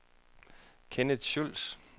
Kent Schulz